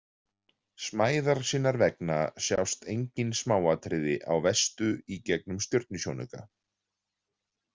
Smæðar sinnar vegna sjást engin smáatriði á Vestu í gegnum stjörnusjónauka.